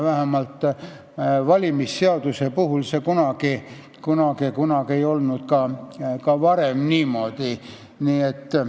Vähemalt valimisseaduse puhul ei olnud see ka kunagi varem niimoodi olnud.